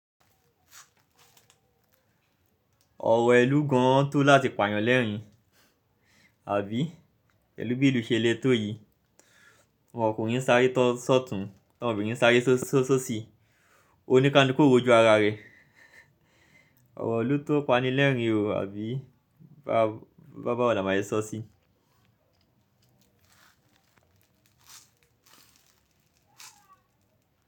Ọ̀rọ̀ ẹlú gan tó láti pààyàn lẹ́ẹ̀rín, àbí? Pẹ̀lú bí ìlú ṣe le tó yìí. Ọkùnrin sáré tọ sọ̀tùn, obìnrin sáré sosi onikaluku o r'oju ara rẹ. Ọ̀rọ̀ ilu tó pani lẹ́ẹ̀rín o, àbí? Bàwo la máa sé sọ sí i.